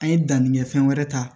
An ye danni kɛ fɛn wɛrɛ ta